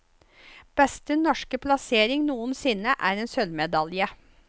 Beste norske plassering noensinne er en sølvmedalje.